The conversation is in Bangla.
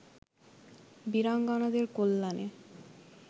বীরাঙ্গনাদের কল্যাণে